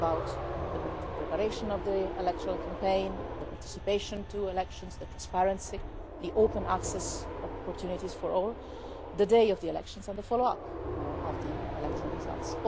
it's about the preparation of the electoral campaign, the participation in elections, the transparency, the open access opportunities for all, the day of the elections and the follow-up of the electoral results.